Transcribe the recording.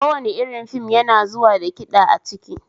Kowane irin fim yana zuwa da kiɗa a ciki